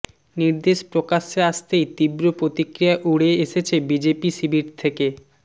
নির্দেশ প্রকাশ্যে আসতেই তীব্র প্রতিক্রিয়া উড়ে এসেছে বিজেপি শিবির থেকে